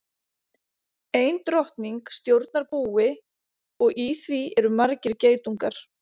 Ein drottning stjórnar búi og í því eru margir geitungar.